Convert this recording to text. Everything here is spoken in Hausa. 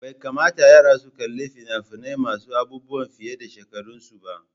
Bai kamata yara su kalli fina-finai masu aubuwan fiye a shekarun su ba.